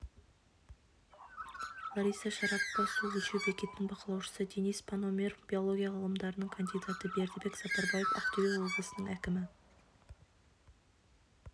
лариса шарапова су өлшеу бекетінің бақылаушысы денис пономорев биология ғылымдарының кандидаты бердібек сапарбаев ақтөбе облысының әкімі